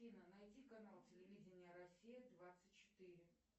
афина найди канал телевидения россия двадцать четыре